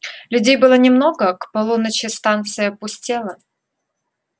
людей было немного к полуночи станция пустела